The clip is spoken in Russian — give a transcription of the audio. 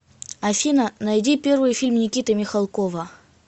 афина найди первый фильм никиты михалкова